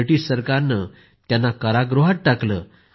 British सरकाने त्यांना कारागृहात टाकलं